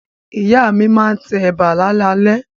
Ìyá mi máa tẹ ẹ̀bà láalalẹ́.